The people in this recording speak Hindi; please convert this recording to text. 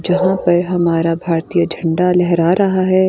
जहां पर हमारा भारतीय झंडा लहरा रहा है।